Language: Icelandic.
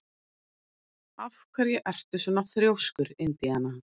Af hverju ertu svona þrjóskur, Indiana?